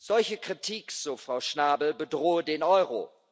Solche Kritik, so Frau Schnabel, bedrohe den Euro.